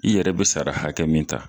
I yɛrɛ be sara hakɛ min ta